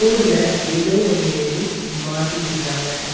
போர்டுல ஏதோ ஒன்னு எழுதி மாட்டி இருக்காங்க.